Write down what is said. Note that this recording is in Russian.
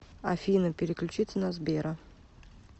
афина переключиться на сбера